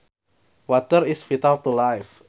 Water is vital to life